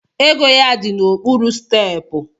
Ego ya di n’okpuru stepu